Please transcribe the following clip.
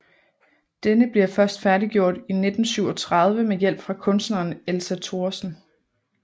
Denne bliver først færdiggjort i 1937 med hjælp fra kunstneren Elsa Thoresen